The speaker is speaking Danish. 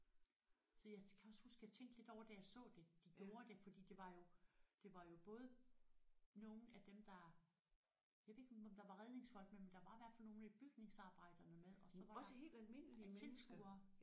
Så jeg kan også huske jeg tænkte lidt over da jeg så det de gjorde det fordi det var jo det var jo både nogle af dem der jeg ved ikke om der var redningsfolk med men der var i hvert fald nogle af bygningsarbejderne med og så var der tilskuere